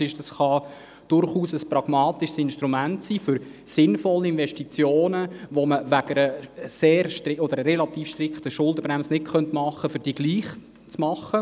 Dieser kann durchaus ein pragmatisches Instrument für sinnvolle Investitionen sein, die man wegen einer relativ strikten Schuldenbremse nicht tätigen kann, aber gleichwohl mittels dieses Fonds.